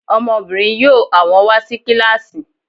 Ọmọbìnrin yóò àwọn wà sí kílàsì